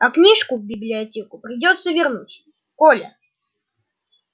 а книжку в библиотеку придётся вернуть коля